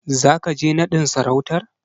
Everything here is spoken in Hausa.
Zaka je naɗin sarautar?